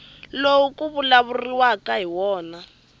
lowu ku vulavuriwaka hi wona